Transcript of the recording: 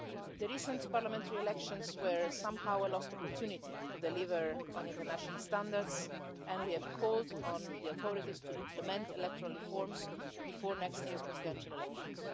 The recent parliamentary elections were somehow a lost opportunity to deliver on international standards and we have called on the authorities to implement electoral reforms before next year's presidential elections.